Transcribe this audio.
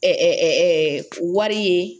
wari ye